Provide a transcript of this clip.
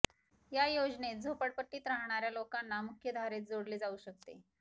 या योजनेत झोपडपट्टीत राहणाऱ्या लोकांना मुख्य धारेत जोडले जाऊ शकते